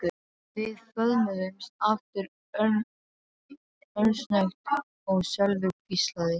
Við föðmuðumst aftur örsnöggt og Sölvi hvíslaði